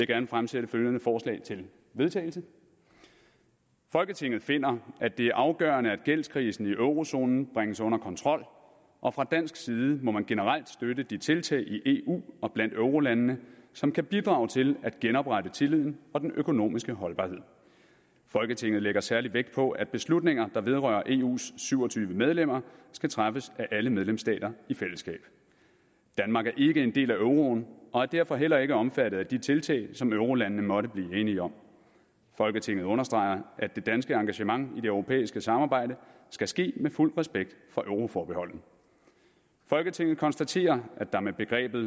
gerne fremsætte følgende forslag til vedtagelse folketinget finder at det er afgørende at gældskrisen i eurozonen bringes under kontrol og fra dansk side må man generelt støtte de tiltag i eu og blandt eurolandene som kan bidrage til at genoprette tilliden og den økonomiske holdbarhed folketinget lægger særlig vægt på at beslutninger der vedrører eus syv og tyve medlemmer skal træffes af alle medlemsstater i fællesskab danmark er ikke en del af euroen og er derfor heller ikke omfattet af de tiltag som eurolandene måtte blive enige om folketinget understreger at det danske engagement i det europæiske samarbejde skal ske med fuld respekt for euroforbeholdet folketinget konstaterer at der med begrebet